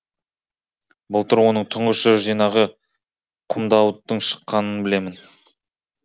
былтыр оның тұңғыш жыр жинағы құмдауыттың шыққанын білемін